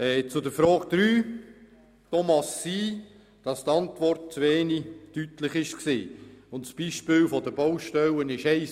Zur Frage 3: Hier mag es sein, dass die Antwort zu wenig deutlich war und unser Beispiel vielleicht nicht sehr glücklich gewählt wurde.